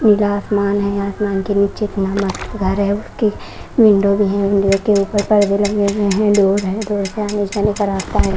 नीला आसमान है आसमान के नीचे एक घर है उसके विंडो भी है विंडो के ऊपर पर्दे लगे हुए हैं डोर है डोर से आने जाने का रास्ता है।